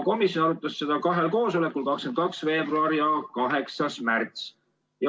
Komisjon arutas seda eelnõu kahel koosolekul, 22. veebruaril ja 8. märtsil.